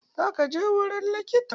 Zaka je wurin likita?